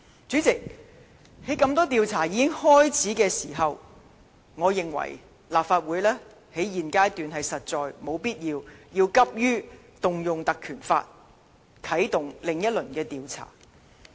主席，在多項調查已經開始時，我認為立法會在現階段實在沒有必要急於運用《立法會條例》，啟動另一輪調查。